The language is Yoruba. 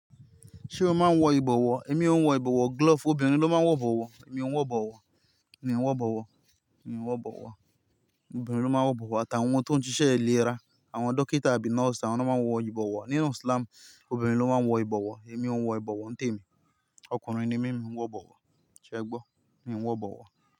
Ṣé o máa ń wọ ìbọ̀wọ́? Èmi ò ń wọ ìbọ̀wọ́. Glove, obìnrin ló máa ń wọ ìbọ̀wọ́. Èmi ò ń wọ ìbọ̀wọ́. Mi ò ń wọ ìbọ̀wọ́. Mi ò ń wọ ìbọ̀wọ́. Obìnrin ló máa ń wọ ìbọ̀wọ́. Àtàwọn tó ń ṣiṣẹ́ ìlera, àwọn dókítà àbí nọ́ọ̀sì, àwọn náà máa ń wọ ìbọ̀wọ́. Nínú islam, obìnrin ló máa ń wọ ìbọ̀wọ́. Èmi ò ń wọ ìbọ̀wọ́, ń tèmi. Ọkùnrin ni mí, mi ò ń wọ ìbọ̀wọ́. Sẹ gbọ́, mii ń wọ ìbọ̀wọ́